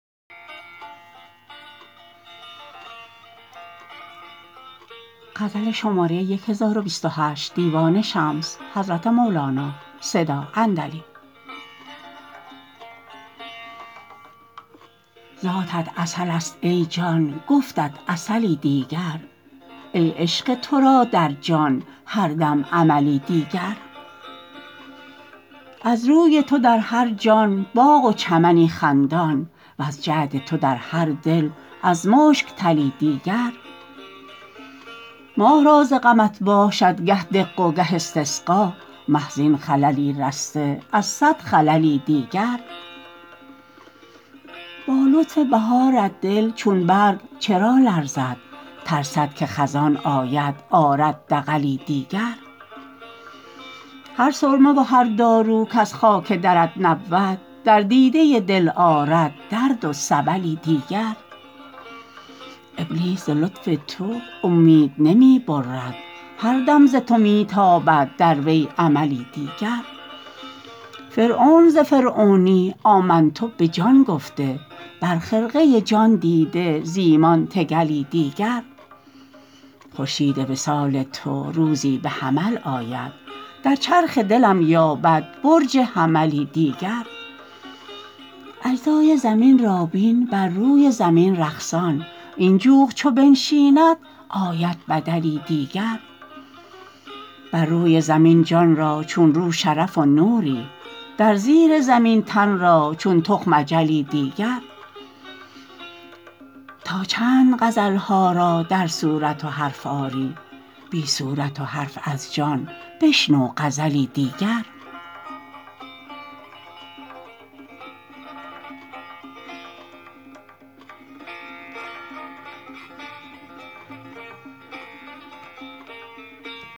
ذاتت عسلست ای جان گفتت عسلی دیگر ای عشق تو را در جان هر دم عملی دیگر از روی تو در هر جان باغ و چمنی خندان وز جعد تو در هر دل از مشک تلی دیگر مه را ز غمت باشد گه دق و گه استسقا مه زین خللی رسته از صد خللی دیگر با لطف بهارت دل چون برگ چرا لرزد ترسد که خزان آید آرد دغلی دیگر هر سرمه و هر دارو کز خاک درت نبود در دیده دل آرد درد و سبلی دیگر ابلیس ز لطف تو اومید نمی برد هر دم ز تو می تابد در وی املی دیگر فرعون ز فرعونی آمنت به جان گفته بر خرقه جان دیده ز ایمان تکلی دیگر خورشید وصال تو روزی به جمل آید در چرخ دلم یابد برج حملی دیگر اجزای زمین را بین بر روی زمین رقصان این جوق چو بنشیند آید بدلی دیگر بر روی زمین جان را چون رو شرف و نوری در زیر زمین تن را چون تخم اجلی دیگر تا چند غزل ها را در صورت و حرف آری بی صورت و حرف از جان بشنو غزلی دیگر